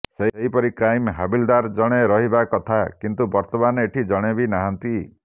ସେହିପରି କ୍ରାଇମ୍ ହାବିଲଦାର ଜଣେ ରହିବା କଥା କିନ୍ତୁ ବର୍ତମାନ ଏଠି ଜଣେ ବି ନାହାନ୍ତି